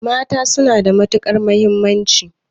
Mata suna da matuƙar mahimmanci.